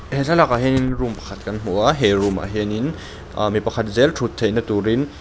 he thlalakah hianin room pakhat kan hmu a he room ah hianin ah mi pakhat zêl ṭhut theihna tûrin.